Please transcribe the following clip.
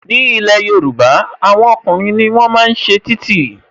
Ní ilé Yorùbá, àwọn ọkùnrin ni wọ́n máa ń ṣe títì